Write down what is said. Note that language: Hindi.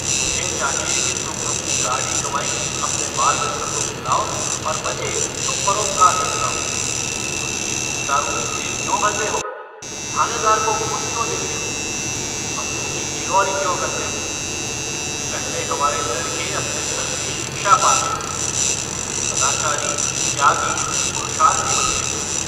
तुम्हें चाहिए कि तुम अपनी गाढ़ी कमाई अपने बाल-बच्चों को खिलाओ और बचे तो परोपकार में लगाओ। वकील-मुख्तारों की जेब क्यों भरते हो? थानेदार को घूस क्यों देते हो? अमलों की चिरौरी क्यों करते हो? पहले हमारे लड़के अपने धर्म को शिक्षा पाते थे। वे सदाचारी त्यागी पुरुषार्थी बनते थे।